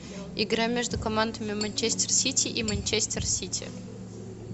игра между командами манчестер сити и манчестер сити